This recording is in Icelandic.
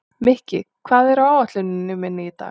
Mikki, hvað er á áætluninni minni í dag?